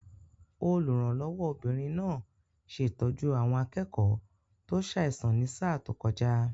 Olùrànlọ́wọ́ obìnrin náà ṣe ìtọ́jú àwọn akẹ́kọ̀ọ́ tó ṣàìsàn ní sáà tó kọjá